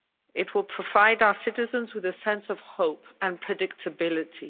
It will provide our citizens with a sense of hope and predictability.